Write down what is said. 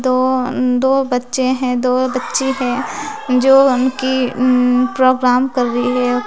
दो अम दो बच्चे हैं दो बच्चे हैं जो उनकी उम्म प्रोग्राम कर रही है।